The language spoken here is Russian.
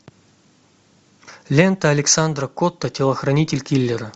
лента александра котта телохранитель киллера